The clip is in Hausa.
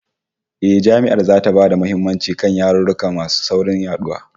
Eh, Jami'ar zata ba da muhimmanci kan yarurruka masu saurin yaduwa